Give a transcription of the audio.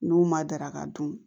N'u ma daraka dun